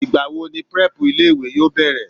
Ìgbà wo ni prep ilé ìwé yóò bẹ̀rẹ̀?